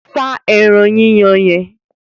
Sá ẹran yíyan yẹn!